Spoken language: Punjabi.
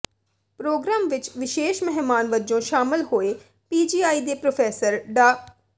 ਪ੍ਰੋਗਰਾਮ ਵਿਚ ਵਿਸ਼ੇਸ ਮਹਿਮਾਨ ਵਜੋਂ ਸ਼ਾਮਲ ਹੋਏ ਪੀਜੀਆਈ ਦੇ ਪ੍ਰੋਫੈਸਰ ਡਾ